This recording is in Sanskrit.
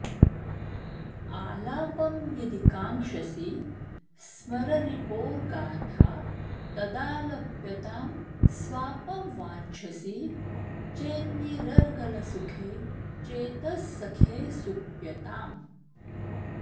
आलापं यदि काङ्क्षसि स्मररिपोर्गाथा तदालप्यतां स्वापं वाञ्छसि चेन्निरर्गलसुखे चेतः सखे सुप्यताम्